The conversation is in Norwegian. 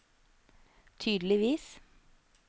tydeligvis